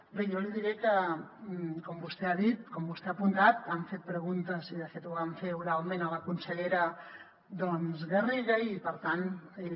bé jo li diré que com vostè ha dit com vostè ha apuntat han fet preguntes i de fet ho van fer oralment a la consellera garriga i per tant ella